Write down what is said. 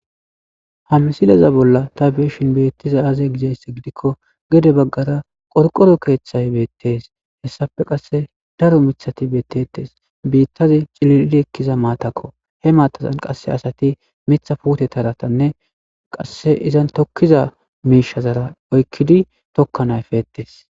ha misilaza bolla ta beyishin beettizay aaze gizayssa gidikko gede baggara qorqoro keeththay beettees hessafe qasse daro mithati bettetes biittazi cililidi ekkiza maatakko he maatazan qasse asati mitha puutetaratanne qassi izan tokkiza miishazara oykkidi tokkana efettes